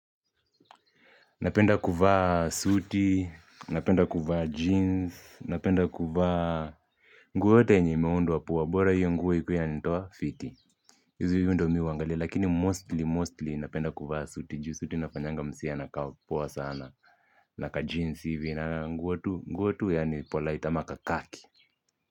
Napenda kuvaa suti, napenda kuvaa jeans, napenda kuvaa. Nguo yoyote yenye imeundwa poa, bora hiyo nguo ikuwe inanitoa fiti. Hizi huwa ndio mi hunagalia lakini mostly mostly napenda kuvaa suti juu suti inafanyanga mse anakaa poa sana na kajeans hivi, na nguo tu, nguo tu yaani polite ama kakhaki.